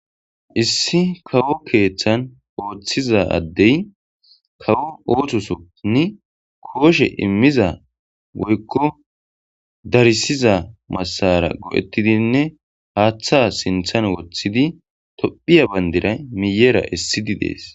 issi kawo keeththan ooththiza addey kawo oothosonni kooshe immiza woykko darisiza massara go7ettidinne haaththa sinthan woththidi tophiya bandira miyera issidi dees